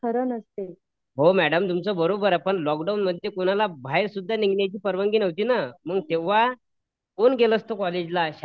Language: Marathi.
हो मॅडम तुमच बरोबर आहे पण लोकडाऊन मध्ये कुणाला बाहेर सुद्दा निघण्याची परवानगी नव्हती ना मग तेव्हा कोण गेलं असत कॉलेजला शाळेत